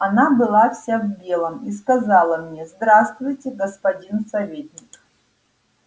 она была вся в белом и сказала мне здравствуйте господин советник